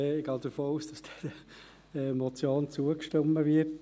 Ich gehe davon aus, dass dieser Motion zugestimmt wird.